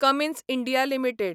Cummins India limited